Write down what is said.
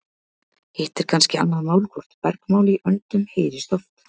hitt er kannski annað mál hvort bergmál í öndum heyrist oft